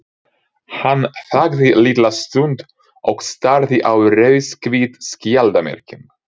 Hann þagði litla stund og starði á rauðhvít skjaldarmerkin.